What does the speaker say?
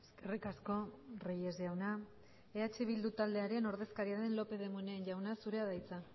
eskerrik asko reyes jauna eh bildu taldearen ordezkariaren lópez de munain jauna zurea da hitza